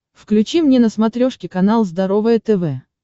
включи мне на смотрешке канал здоровое тв